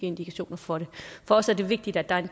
indikationer for det for os er det vigtigt at der er